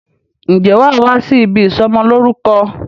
Ǹjẹ́ wàá wá sí ibi ìsọmọ lórúkọ